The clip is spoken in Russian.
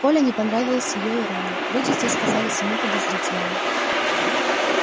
коле не понравилась её ирония люди здесь казались ему подозрительными